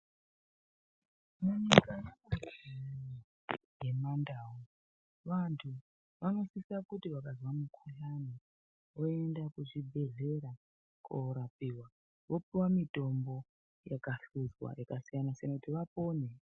Mandau vantu vanosisa kuti vakanzwa mukhudhlani voenda kuzvibhedhleya korapiwa vopiwa mutombo yakasiyana-siyana kuti vapone .